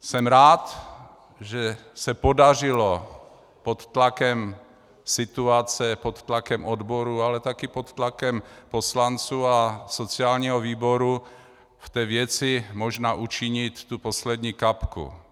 Jsem rád, že se podařilo pod tlakem situace, pod tlakem odborů, ale také pod tlakem poslanců a sociálního výboru v té věci možná učinit tu poslední kapku.